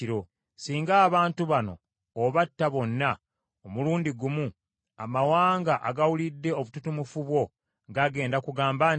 Singa abantu bano obatta bonna omulundi gumu, amawanga agawulidde obututumufu bwo gagenda kugamba nti,